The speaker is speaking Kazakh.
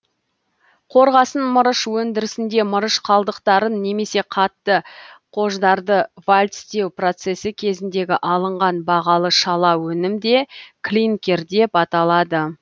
қорғасын мырыш өндірісінде мырыш қалдықтарын немесе қатты қождарды вальцтеу процесі кезіндегі алынған бағалы шала өнім де клинкер деп аталады